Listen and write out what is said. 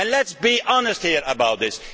Let us be honest about this.